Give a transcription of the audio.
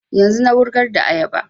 Yanzun na wurgar da ayaba